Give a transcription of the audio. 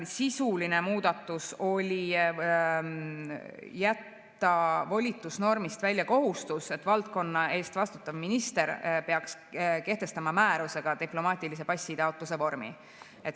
Sisuline muudatus oli jätta volitusnormist välja kohustus, et valdkonna eest vastutav minister peaks kehtestama määrusega diplomaatilise passi taotluse vormi.